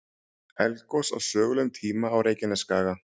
Eldgos á sögulegum tíma á Reykjanesskaga.